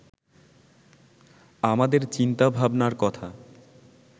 আমাদের চিন্তাভাবনার কথা